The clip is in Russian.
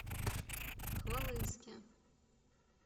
хвалынске